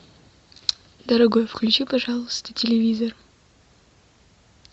дорогой включи пожалуйста телевизор